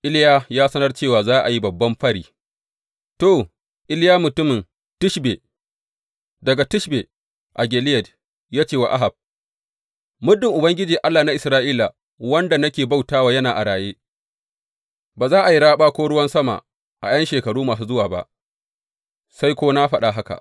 Iliya ya sanar cewa za a yi babban fari To, Iliya mutumin Tishbe, daga Tishbe a Gileyad, ya ce wa Ahab, Muddin Ubangiji, Allah na Isra’ila wanda nake bauta wa yana a raye, ba za a yi raɓa ko ruwan sama a ’yan shekaru masu zuwa ba, sai ko na faɗa haka.